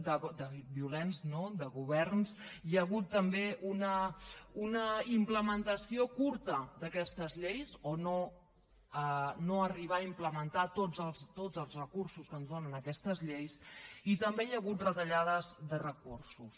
de violents no de governs hi ha hagut també una implementació curta d’aquestes lleis o no arribar a implementar tots els recursos que ens donen aquestes lleis i també hi ha hagut retallades de recursos